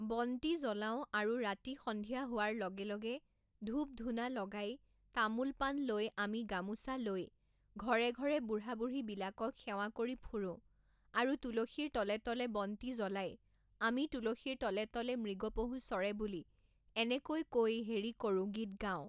বন্তি জলাওঁ আৰু ৰাতি সন্ধিয়া হোৱাৰ লগে লগে ধূপ ধুনা লগাই তামোল পাণ লৈ আমি গামোচা লৈ ঘৰে ঘৰে বুঢ়া বুঢ়ীবিলাকক সেৱা কৰি ফুৰোঁ আৰু তুলসীৰ তলে তলে বন্তি জ্বলাই আমি তুলসীৰ তলে তলে মৃগ পহু চৰে বুলি এনেকৈ কৈ হেৰি কৰোঁ গীত গাওঁ